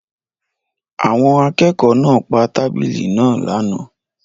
Àwọn akẹ́kọ̀ọ́ náà pa tábìlì náà lánàá.